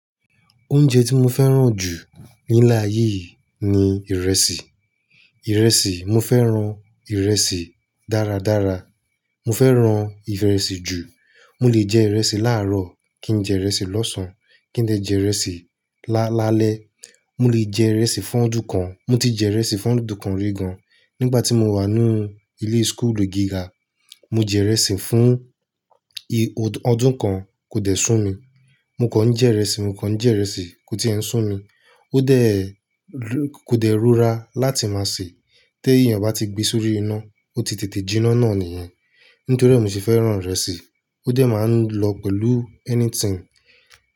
Oúnjẹ tí mo fẹ́ràn jù ní ilé ayé yí ni ìrẹsì. Ìrẹsì, mo fẹ́ràn ìrẹsì dáradára. Mo fẹ́ràn ìrẹsì jù. Mo lè jẹ ìrẹsì láàárọ̀ kí n jẹ ìrẹsì lọ́sàn án, kí n dè jẹ ìrẹsì lálẹ́. Mo lè jẹ ìrẹsì fún ọdún kan, mo ti jẹ ìrẹsì fún ọdún kan rí gan. Nígbà tí mo wà ní ilé school gíga, mo jẹ ìrẹsì fún ọdún kan kò dẹ̀ sún mi. Mo kàn jẹ ìrẹsì, mo kàn jẹ ìrẹsì kó tí ẹ̀ n sún mi. Ó dẹ̀, kò dẹ̀ rúra láti máa sè. Tẹ èyàn bá ti gbe sórí iná, ó ti tètè jinná náà nìyẹn. Nítorí è mi se fẹ́ràn ìrẹsì. Ó dẹ̀ máa ń lọ pẹ̀lú anything.